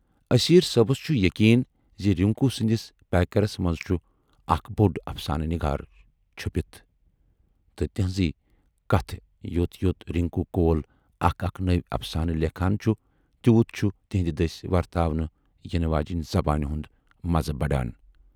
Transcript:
اسیرؔ صٲبَس چھُ یقیٖن زِ رِنکو سٕندِس پیکرس منز چھُ اکھ بوڈ افسانہٕ نِگار چُھپِتھ تہٕ تِہٕنزے کتھٕ یوت یوت رِنکو کول اکھ اکھ نٔوۍ افسانہٕ لیکھان چھُ تیوٗت چھُ تِہٕندِ دٔسۍ ورتاونہٕ یِنہٕ واجنۍ زبانہِ ہُند مزٕ بڈان۔